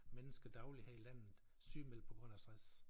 Mennesker dagligt her i landet sygemeldt på grund af stress